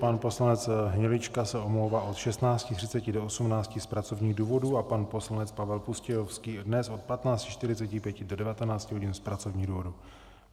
Pan poslanec Hnilička se omlouvá od 16.30 do 18.00 z pracovních důvodů a pan poslanec Pavel Pustějovský dnes od 15.45 do 19 hodin z pracovních důvodů.